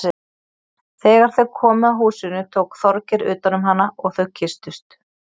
Þegar þau komu að húsinu tók Þorgeir utan um hana og þau kysstust.